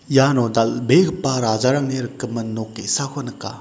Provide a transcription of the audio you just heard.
iano dal·begipa rajarangni rikgimin nok ge·sako nika.